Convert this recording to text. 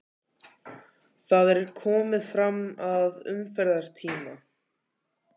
Það er komið fram að umferðartíma.